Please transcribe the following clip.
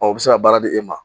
u bɛ se ka baara di e ma.